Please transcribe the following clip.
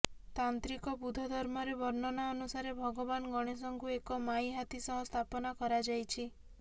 ତାନ୍ତ୍ରିକ ବୁଦ୍ଧ ଧର୍ମରେ ବର୍ଣ୍ଣନା ଅନୁସାରେ ଭଗବାନ ଗଣେଶଙ୍କୁ ଏକ ମାଇ ହାତୀ ସହ ସ୍ଥାପନା କରାଯାଇଛି